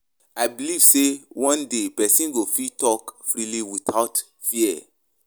I beliv sey one day pesin go fit talk freely without fear.